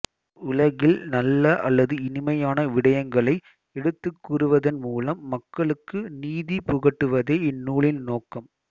உலகில் நல்ல அல்லது இனிமையான விடயங்களை எடுத்துக்கூறுவதன் மூலம் மக்களுக்கு நீதி புகட்டுவதே இந்நூலின் நோக்கம்